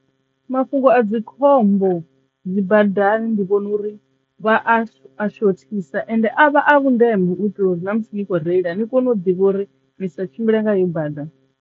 Mafhungo a dzi khombo dzi badani ndi vhona uri vha a a shothisa ende a vha a vhundeme u itela uri na musi ni kho reila ni kone u ḓivha uri nisa tshimbile nga iyo bada.